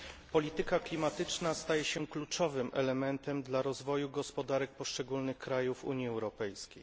Polityka klimatyczna staje się kluczowym elementem dla rozwoju gospodarek poszczególnych krajów Unii Europejskiej.